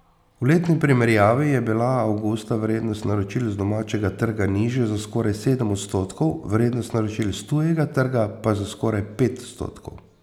V letni primerjavi je bila avgusta vrednost naročil z domačega trga nižja za skoraj sedem odstotkov, vrednost naročil s tujega trga pa za skoraj pet odstotkov.